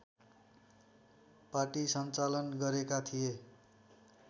पाटी सञ्चालन गरेका थिए